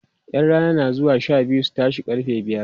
ƴan Rana na zuwa Sha biyu su tashe karfe biyar